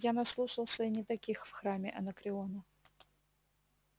я наслушался и не таких в храме анакреона